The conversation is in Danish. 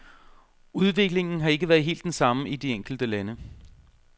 Udviklingen har ikke været helt den samme i de enkelte lande.